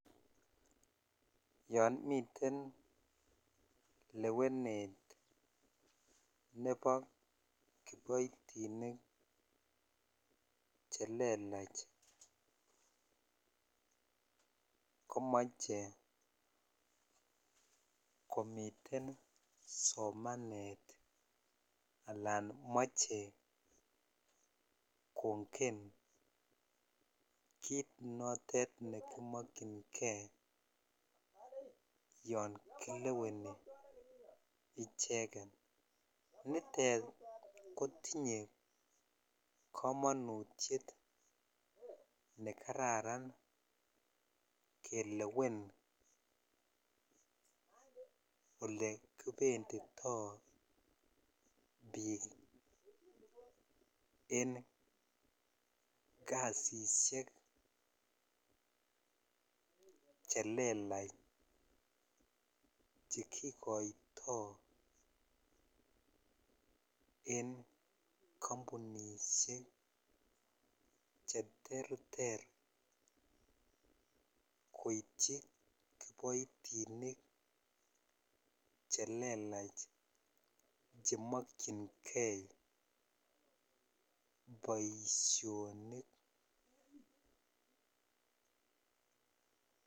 Yon miten lewenet ne bo kiboitinik chelelach komoche komiten somanet alan moche kongen kit notet nekimokyingee yon kileweni icheket nitet kotinye komonutiet nekararan kelewen olekibenditoo biik en kasisiek chelelach chekikoitoo en kampunishek cheterter koityi kiboitinik chelelach chemokyingee boisionik.